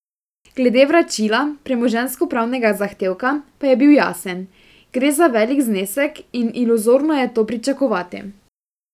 Glede vračila premoženjskopravnega zahtevka, pa je bil jasen: "Gre za velik znesek in iluzorno je to pričakovati.